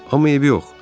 Amma eybi yox.